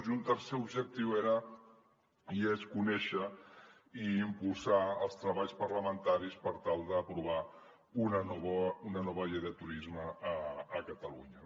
i un tercer objectiu era i és conèixer i impulsar els treballs parlamentaris per tal d’aprovar una nova llei de turisme a catalunya